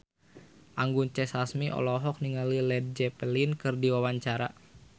Anggun C. Sasmi olohok ningali Led Zeppelin keur diwawancara